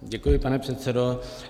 Děkuji, pane předsedo.